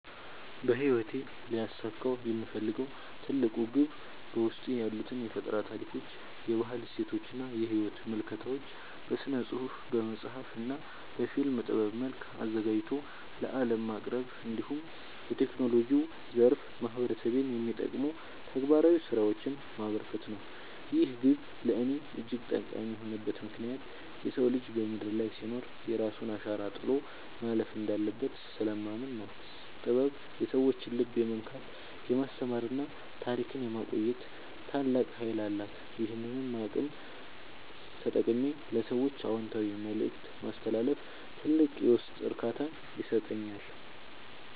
በሕይወቴ ሊያሳካው የምፈልገው ትልቁ ግብ በውስጤ ያሉትን የፈጠራ ታሪኮች፣ የባህል እሴቶችና የሕይወት ምልከታዎች በሥነ-ጽሑፍ (በመጽሐፍ) እና በፊልም ጥበብ መልክ አዘጋጅቶ ለዓለም ማቅረብ፣ እንዲሁም በቴክኖሎጂው ዘርፍ ማኅበረሰቤን የሚጠቅሙ ተግባራዊ ሥራዎችን ማበርከት ነው። ይህ ግብ ለእኔ እጅግ ጠቃሚ የሆነበት ምክንያት የሰው ልጅ በምድር ላይ ሲኖር የራሱን አሻራ ጥሎ ማለፍ እንዳለበት ስለማምን ነው። ጥበብ የሰዎችን ልብ የመንካት፣ የማስተማርና ታሪክን የማቆየት ታላቅ ኃይል አላት፤ ይህንን አቅም ተጠቅሜ ለሰዎች አዎንታዊ መልእክት ማስተላለፍ ትልቅ የውስጥ እርካታን ይሰጠኛል።